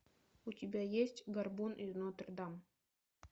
у тебя есть горбун из нотр дам